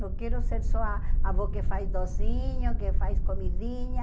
Não quero ser só a avó que faz docinho, que faz comidinha.